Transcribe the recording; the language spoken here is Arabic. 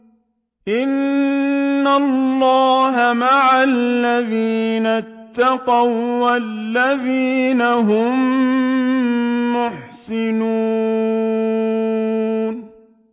إِنَّ اللَّهَ مَعَ الَّذِينَ اتَّقَوا وَّالَّذِينَ هُم مُّحْسِنُونَ